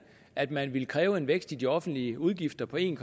at man ville kræve en vækst i de offentlige udgifter på en